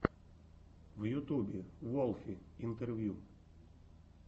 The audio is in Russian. в ютубе волфи интервью